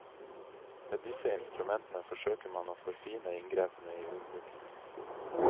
Med disse instrumentene forsøker man å forfine inngrepene i jordbruket.